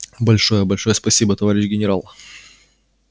большое большое спасибо товарищ генерал